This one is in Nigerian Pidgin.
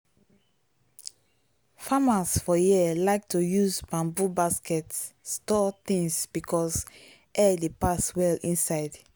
farmers for here like to use bamboo basket store things because air dey pass well inside.